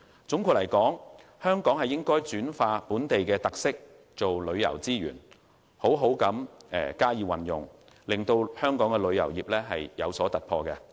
總括而言，香港應將本地特色轉化為旅遊資源，好好加以利用，為旅遊業帶來突破。